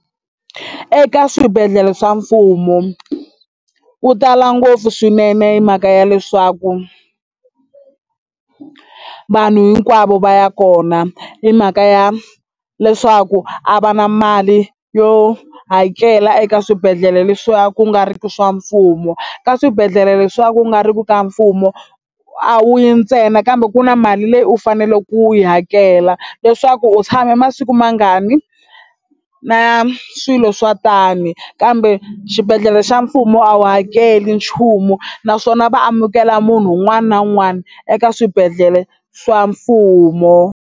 Eka swibedhlele swa mfumo ku tala ngopfu swinene hi mhaka ya leswaku vanhu hinkwavo va ya kona hi mhaka ya leswaku a va na mali yo hakela eka swibedhlele le swa ku nga riki swa mfumo. Ka swibedhlele leswa ku nga riku ka mfumo a wu yi ntsena kambe ku na mali leyi u faneleke ku yi hakela leswaku u tshame masiku mangani na swilo swa tani kambe xibedhlele xa mfumo a wu hakeli nchumu naswona va amukela munhu un'wana na un'wana eka swibedhlele swa mfumo.